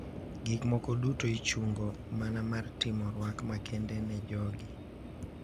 Gik moko duto ichungo mana mar timo rwak makende ne jogi.